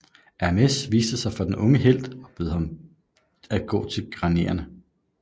Hermes viste sig for den unge helt og bød ham at gå til Graierne